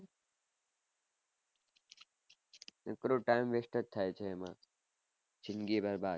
કોકનો time vest થય છે એમાં જિંદગી બરબાદ